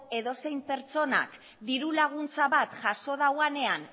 edozein pertsonak diru laguntza bat jaso dauanean